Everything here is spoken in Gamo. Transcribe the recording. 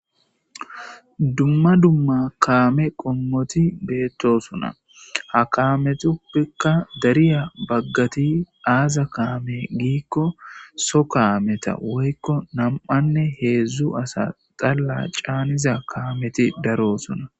Dumma dumma kaame qommoti beettosuna ha kaametuppikka dariya baggati aaza kaame giikko so kaameta woykko nam'anne heedzdzu asa xalla caaniza kaameti darosuna.